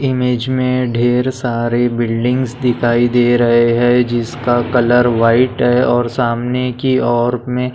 image में ढेर सारी बिल्डिंगस दिखाई दे रहे है जिसका कलर व्हाइट है और सामने की और में--